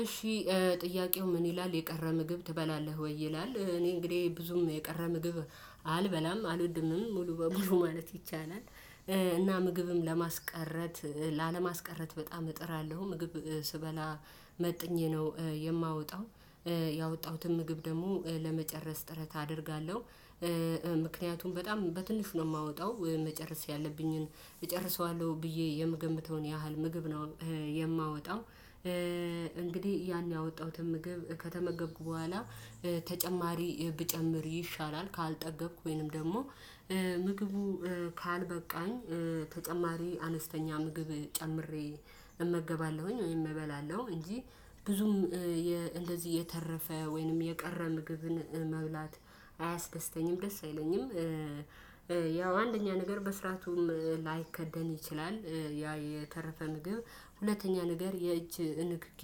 እሺ ጥያቄው ምን ይላል የቀረ ምግብ ትበላለህ ወይ? ይላል እኔ እንግዲህ ብዙም የቀረ ምግብ አልበላም አልወድምም ሙሉ በሙሉ ማለት ይቻላል። እና ምግብም ለማስቀረት ላለማስቀረት በጣም እጥራለሁ ምግብ ስበላ መጥኜ ነው የማወጣው ያወጣሁትን ምግብ ደግሞ ለመጨረስ ጥረት አደርጋለሁ። ምክንያቱም በጣም በትንሹ ነው የማወጣው መጨረስ ያለብኝን እጨርሰዋለሁ ብዬ የምገምተውን ያህል ምግብ ነው የማወጣው። እንግዲህ ያን ያወጣሁትን ምግብ ከተመገቡ በኋላ ተጨማሪ ብጨምር ይሻላል ካልጠገብኩኝም ደግሞ ምግቡ ካልበቃኝ ተጨማሪ አነስተኛ ምግብ ጨምሬ እመገባለሁኝ ወይም እበላለሁ እንጂ ብዙም እንደዚህ እየተረፈ ወይንም የቀረ ምግብን መብላት አያስደስተኝም ደስ አይለኝም። ያው አንደኛ ነገር በስራቱም ላይከደን ይችላል ያ የተረፈ ምግብ ሁለተኛ ነገር የእጅ ንክኪ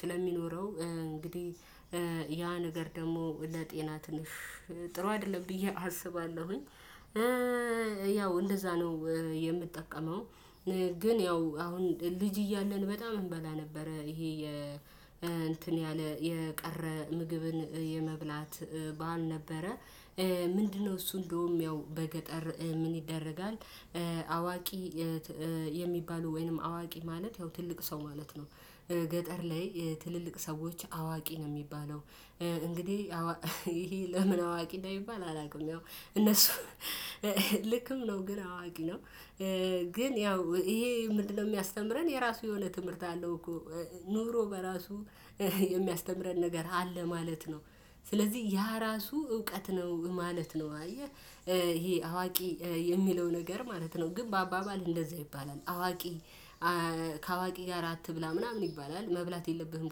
ስለሚኖረው እንግዲህ ያ ነገር ደግሞ ለጤና ትንሽ ጥሩ አይደለም ብዬ አስባለሁኝ። ያው እንደዛ ነው የምጠቀመው። ግን ያው አሁን ልጅ እያለን በጣም እንበላ ነበረ ይሄ የ እንትን ያለ የቀረ ምግብን የመብላት በሀል ነበረ። ምንድነው? እሱ እንደውም ያው በገጠር ምን ይደረጋል። አዋቂ የሚባሉ ወይንም አዋቂ ማለት ያው ትልቅ ሰው ማለት ነው። ገጠር ላይ ትልልቅ ሰዎች አዋቂ ነው የሚባለው። እንግዲህ ይሄ ለምን አዋቂ ነው አንደ ሚባል አላውቅም። ያው እነሱ ልክም ነው ግን አዋቂ ነው። ግን ያው ይሄ ምንድነው የሚያስተምረን የራሱ የሆነ ትምህርት አለው እኮ። ኑሮ በራሱ የሚያስተምረን ነገር አለ ማለት ነው። ስለዚህ ያ ራሱ እውቀት ነው ማለት ነው አየህ። ይሄ አዋቂ የሚለው ነገር ማለት ነው ግን በአባባል እንደዛ ይባላል አዋቂ ከአዋቂ ጋር አትብላ ምናምን ይባላል። መብላት የለብህም።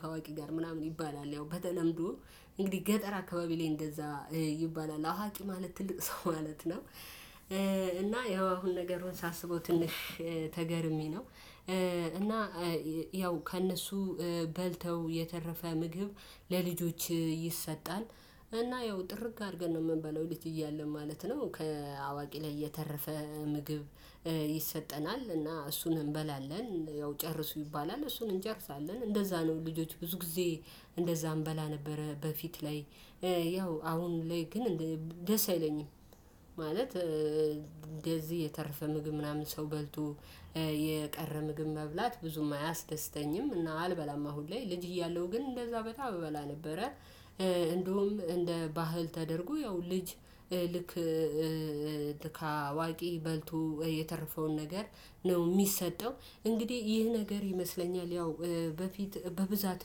ከአዋቂ ጋር ምናምን ይባላል። ያው በተለምዶ እንግዲህ ገጠር አካባቢ ላይ እንደዛ ይባላል አዋቂ ማለት ትልቅ ሰው ማለት ነው። እና ያው አሁን ነገር ሳስበው ትንሽ ተገርሜ ነው። እና ያው ከእነሱ በልተው የተረፈ ምግብ ለልጆች ይሰጣል። እና ያው ጥርግ አድርገን ነው የምንበለው ልጅ እያለ ማለት ነው ከአዋቂ ላይ እየተረፈ ምግብ ይሰጠናል እና እሱን እንበላለን። ያው ጨርሱ ይባላል እሱን እንጨርሳለን እንደዛ ነው። ልጆች ብዙ ጊዜ እንደዛ እንበላ ነበረ በፊት ላይ ያው አሁን ላይ ግን ደስ አይለኝም። ማለት እንደዚህ የተረፈ ምግብ ምናምን ሰው በልቶ የቀረ ምግብ መብላት ብዙም አያስደስተኝም እና አልበላማ አሁን ላይ ልጅ እያለሁ ግን እንደዛ በጣም አበላ ነበረ። እንደውም እንደ ባህል ተደርጎ ያው ልጅ ልክ ልካዋቂ በልቶ የተረፈውን ነገር ነው የሚሰጠው። እንግዲህ ይህ ነገር ይመስለኛል ያው በፊት በብዛት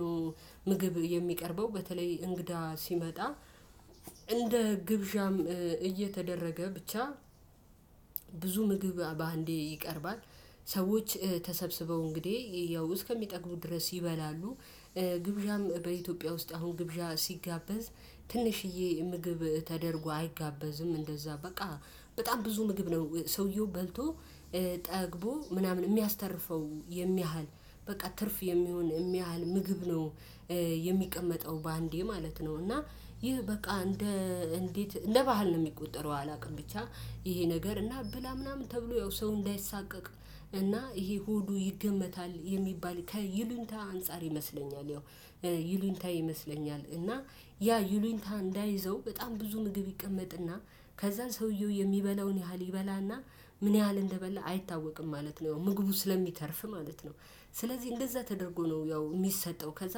ነው ምግብ የሚቀርበው በተለይ እንግዳ ሲመጣ። እንደ ግብዣም እየተደረገ ብቻ። ብዙ ምግብ በአንዴ ይቀርባል። ሰዎች ተሰብስበው እንግዲህ ያው እስከሚጠግቡ ድረስ ይበላሉ። ግብዣም በኢትዮጵያ ውስጥ አሁን ግብዣ ሲጋበዝ ትንሽዬ ምግብ ተደርጎ አይጋበዝም እንደዛ በቃ በጣም ብዙ ምግብ ነው ሰውየው በልቶ ጠግቦ ምናምን የሚያስተርፈው የሚያህል በቃ ትርፍ የሚሆን የሚያህል ምግብ ነው። የሚቀመጠው በአንዴ ማለት ነው። እና ይህ በቃ እንደ እንዴት እንደ ባህል ነው የሚቆጠረው። አላውቅም ብቻ። ይሄ ነገር እና ብላ ምናምን ተብሎ ያው ሰው እንዳይሳቀቅ እና ይሄ ሆዱ ይገመታል የሚባል ከይሉኝታ አንፃር ይመስለኛል። ያው ይሉኝታ ይመስለኛል። እና ያ ይሉኝታ እንዳይዘው በጣም ብዙ ምግብ ይቀመጥ እና ከዛን ሰውየው የሚበላውን ያህል ይበላና ምን ያህል እንደበላ አይታወቅም። ማለት ነው ምግቡ ስለሚተርፍ ማለት ነው። ስለዚህ እንደዛ ተደርጎ ነው ያው የሚሰጠው ከዛ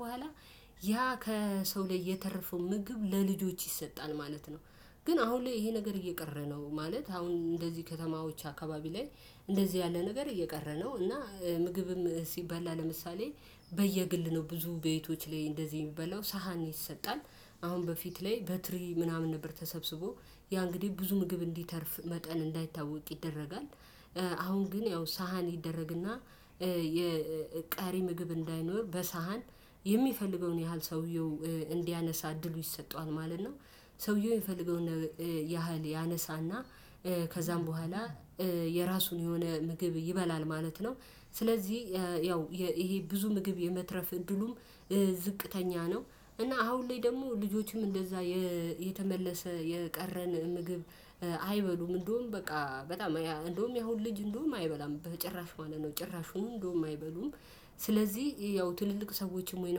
በኋላ ያ ከሰው ላይ የተረፈው ምግብ ለልጆች ይሰጣል ማለት ነው። ግን አሁን ላይ ይሄ ነገር እየቀረ ነው። ማለት አሁን እንደዚህ ከተማዎች አካባቢ ላይ እንደዚህ ያለ ነገር እየቀረ ነው። እና ምግብም ሲበላ ለምሳሌ በየግል ነው ብዙ ቤቶች ላይ እንደዚህ የሚበላው ሳህን ይሰጣል። አሁን በፊት ላይ በትሪ ምናምን ነበር ተሰብስቦ ያ እንግዲህ ብዙ ምግብ እንዲተርፍ መጠን እንዳይታወቅ ይደረጋል። አሁን ግን ያው ሳህን ይደረግ እና የቀሪ ምግብ እንዳይኖር በሳህን የሚፈልገውን ያህል ሰውየው እንዲያነሳ እድሉ ይሰጠዋል ማለት ነው። ሰውየው የሚፈልገውን ያህል ያነሳና ከዛም በኋላ የራሱን የሆነ ምግብ ይበላል ማለት ነው። ስለዚህ ያው ይሄ ብዙ ምግብ የመትረፍ እድሉም ዝቅተኛ ነው። እና አሁን ላይ ደግሞ ልጆቹም እንደዛ የተመለሰ የቀረን ምግብ አይበሉም እንደውም በቃ በጣም እንደውም ያሁን ልጅ እንደውም አይበላም በጭራሽ ማለት ነው። ጭራሹም እንደውም አይበሉም። ስለዚህ ያው ትልልቅ ሰዎችም ወይ